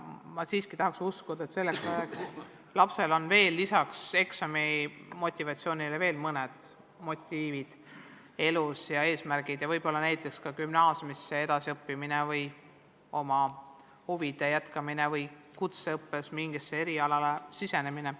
Ma siiski tahaks uskuda, et selleks ajaks on lapsel lisaks eksamimotivatsioonile tekkinud ka mõned muud motiivid ja eesmärgid elus, võib-olla näiteks gümnaasiumisse edasi õppima minek või oma huvialaga tegelemise jätkamine või kutseõppes mingile erialale sisseastumine.